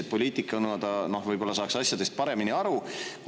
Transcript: Et poliitikuna ta võib-olla saaks asjadest paremini aru.